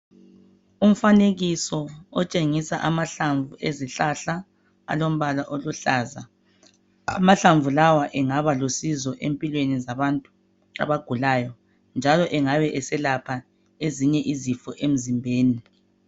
Umfanekiso otshengisa amahlamvu ezihlahla alombala oluhlaza. Amahlamvu lawa engaba lusizo empilweni zabantu abagulayo njalo engabe eselapha ezinye izifo emzimbeni.